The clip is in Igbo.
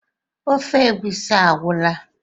ofe egusi agwụla?